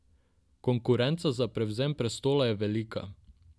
Konkurenca za prevzem prestola je velika.